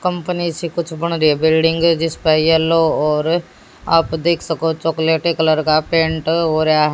company से कुछ बन रही है बिल्डिंगे जिसपे येलो और आप देख सको चॉकल्टी कलर का पेंट हो रहा--